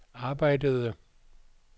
arbejdede